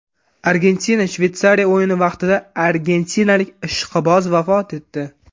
Argentina Shveysariya o‘yini vaqtida argentinalik ishqiboz vafot etdi.